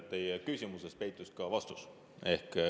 Teie küsimuses peitus ka vastus.